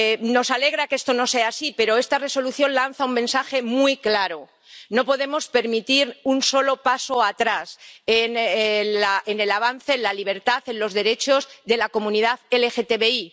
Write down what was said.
Nos alegra que esto no sea así, pero esta Resolución lanza un mensaje muy claro no podemos permitir un solo paso atrás en el avance, en la libertad, en los derechos de la comunidad LGTBI.